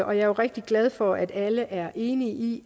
og jeg er rigtig glad for at alle er enige i